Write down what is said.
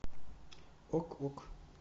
ок ок